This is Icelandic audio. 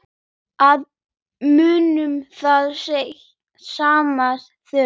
Að muna það sem þarf